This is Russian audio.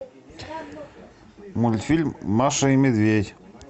мультфильм маша и медведь